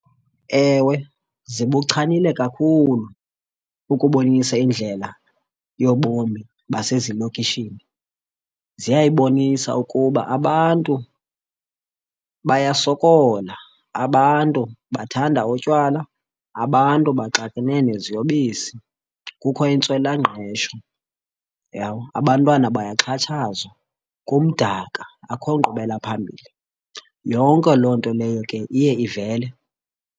Ewe, zibuchanile kakhulu ukubonisa indlela yobomi basezilokishini ziyayibonisa ukuba abantu bayasokola. Abantu bathanda utywala, abantu baxakene neziyobisi, kukho intswelangqesho, uyabona? Abantwana bayaxhatshazwa, kumdaka akho nkqubela phambili. Yonke loo nto leyo ke iye ivele.